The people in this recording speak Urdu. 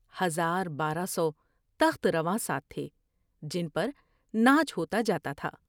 ہزار بارہ سوتخت رواں ساتھ تھے جن پر ناچ ہوتا جا تا تھا ۔